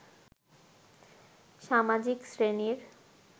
সামাজিক শ্রেণীর